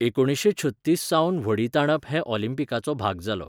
एकुणीसशें छत्तीस सावन व्हडीं ताणप हो ऑलिंपीकाचो भाग जालो.